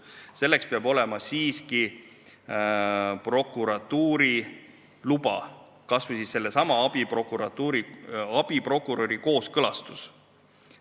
Selleks peab olema siiski prokuratuuri luba, kas või sellesama abiprokuröri kooskõlastus.